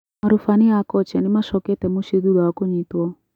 Marubani a kochia nimacokete mũcĩĩ thutha wa kunyitwo